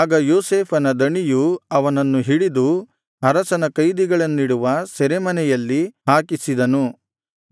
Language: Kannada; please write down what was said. ಆಗ ಯೋಸೇಫನ ದಣಿಯು ಅವನನ್ನು ಹಿಡಿದು ಅರಸನ ಕೈದಿಗಳನ್ನಿಡುವ ಸೆರೆಮನೆಯಲ್ಲಿ ಹಾಕಿಸಿದನು